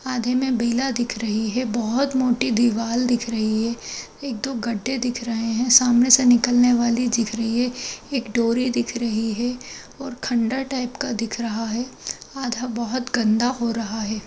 आधे में बेला दिख रही है। बहुत मोटी दीवार दिख रही है। एक दो गड्डे दिख रहे हैं। सामने से निकलने वाली दिख रही है। एक डोरी दिख रही है और खंडर टाइप का दिख रहा है। आधा बहुत गन्दा हो रहा है।